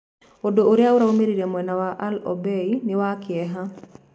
Ũndũ ũrĩa ũraimĩrire mwena wa al-Obei nĩ wa Kieha.